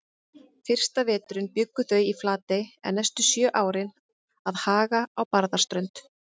Fyrsta veturinn bjuggu þau í Flatey en næstu sjö árin að Haga á Barðaströnd.